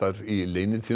í